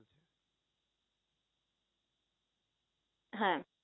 হ্যাঁ